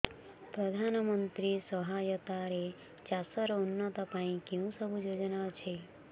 ପ୍ରଧାନମନ୍ତ୍ରୀ ସହାୟତା ରେ ଚାଷ ର ଉନ୍ନତି ପାଇଁ କେଉଁ ସବୁ ଯୋଜନା ଅଛି